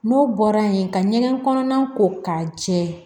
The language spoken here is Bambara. N'o bɔra yen ka ɲɛgɛn kɔnɔna ko k'a jɛ